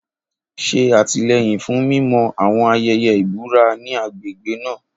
Ṣe àtìlẹ́yìn fún mímọ́ àwọn ayẹyẹ ìbúra ní agbègbè náà.